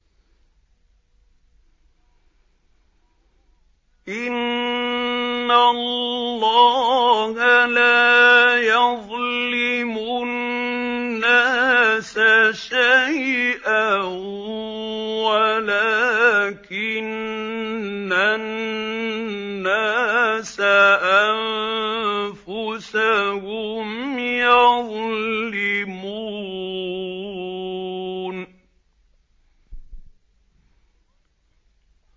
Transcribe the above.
إِنَّ اللَّهَ لَا يَظْلِمُ النَّاسَ شَيْئًا وَلَٰكِنَّ النَّاسَ أَنفُسَهُمْ يَظْلِمُونَ